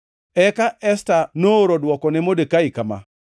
Eka Esta nooro dwoko ne Modekai kama: